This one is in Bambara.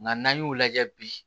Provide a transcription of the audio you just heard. Nka n'an y'o lajɛ bi